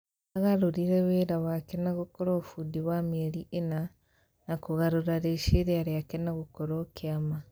Agararũrire wĩ ra wake na gũkorwo bundi wa mĩeri ĩna na kũgarũra rĩciria rĩake na gũkorwo kĩa ma